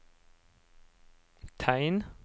tegn